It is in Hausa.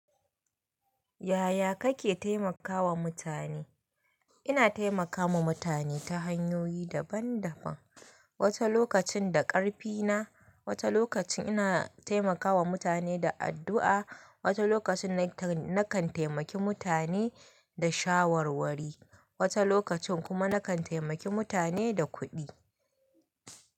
Yaya kake taimakawa mutane? Ina taimakawa mutane ta hanyoyi daban-daban. Wata lokacin da ƙarfina, wata lokacin ina taimakawa mutane da addu'a, wata lokacin na kan taimaki mutane da shawarwari, wata lokacin kuma na kan taimaki mutane da kuɗi.